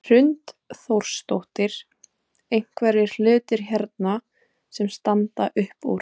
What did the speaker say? Hrund Þórsdóttir: Einhverjir hlutir hérna sem standa upp úr?